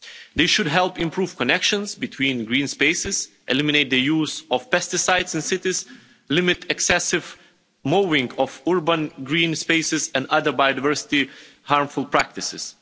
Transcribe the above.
This should help improve connections between green spaces, eliminate the use of pesticides in cities, and limit excessive mowing of urban green spaces and other biodiversity harmful practices.